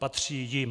Patří jim."